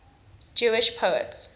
jewish poets